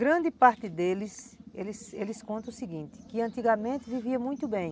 Grande parte deles, eles eles contam o seguinte, que antigamente viviam muito bem.